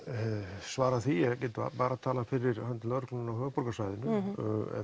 svarað því ég get bara talað fyrir hönd lögreglunnar á höfuðborgarsvæðinu